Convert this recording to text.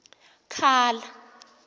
khala